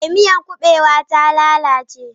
Eh, miyar kubewa ta lalace.